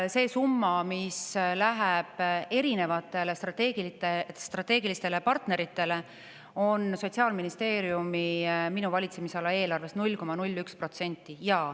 See summa, mis läheb erinevatele strateegilistele partneritele, on Sotsiaalministeeriumi, minu valitsemisala eelarvest 0,01%.